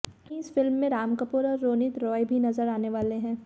वहीं इस फिल्म में राम कपूर और रोनित रॉय भी नजर आने वाले हैं